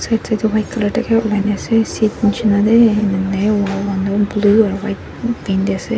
side side tu white colour ase seat nishina te enia hoine wall han tu blue aru white paint te ase.